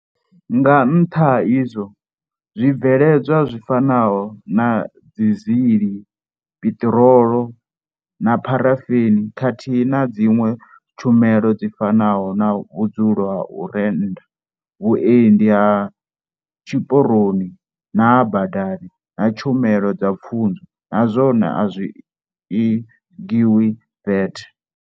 Nga nṱha ha izwo, zwi bveledzwa zwi fanaho na dizili, piṱiro lo na pharafeni, khathihi na dziṅwe tshumelo dzi fanaho na vhudzulo ha u rennda, vhuendi ha tshiporoni na ha badani na tshumelo dza pfunzo na zwone a zwi i ngiwi VAT.